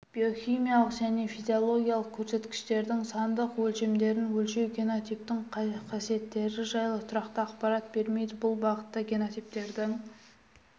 биохимиялық және физиологиялық көрсеткіштердің сандық өлшемдерін өлшеу генотиптің қасиеттері жайлы тұрақты ақпарат бермейді бұл бағытта генотиптерді